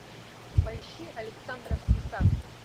поищи александровский сад